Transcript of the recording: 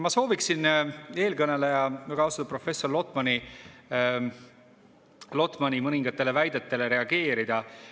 Ma sooviksin eelkõneleja, väga austatud professor Lotmani mõningatele väidetele reageerida.